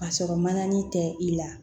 Ka sɔrɔ mananani tɛ i la